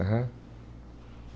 Aham.